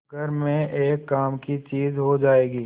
घर में एक काम की चीज हो जाएगी